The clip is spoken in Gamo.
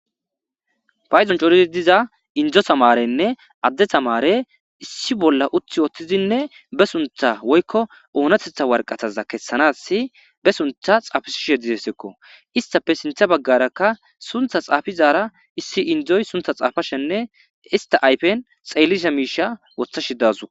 Payzon corizi diza indzo tamarenne adde tamare issi bolla uthi wooththizinne be suntha woykko oonatetha warqataza kessanas be suntha xaafisshe dizesekko istafe sintha baggarakka suntha xaafizara issi indzoy suntha xaafashenne ista aypen xeellisha miisha wotha shidazu.